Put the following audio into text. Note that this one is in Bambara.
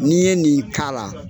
N'i ye nin k'a la